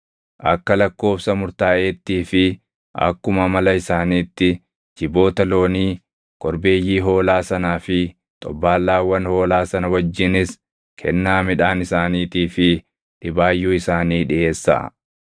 Akka lakkoobsa murtaaʼeettii fi akkuma amala isaaniitti jiboota loonii, korbeeyyii hoolaa sanaa fi xobbaallaawwan hoolaa sana wajjinis kennaa midhaan isaaniitii fi dhibaayyuu isaanii dhiʼeessaa.